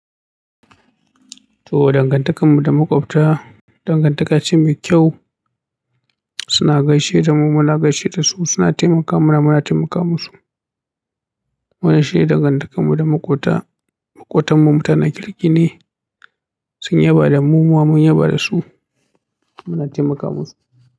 To dangantakar mu da makwabta, dangantaka ce mai kyau. Suna gaishe da mu muna gaishe da su, suna taimaka mana muna taimaka musu. Wannan shine dangantakar mu da maƙota maƙotan mu tana kirki ne. To dangantakar mu da makwabta, dangantaka ce mai kyau. Muna taimaka musu.